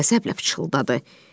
O qəzəblə fısıldadı.